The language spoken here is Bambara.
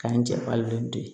K'an jɛ bari de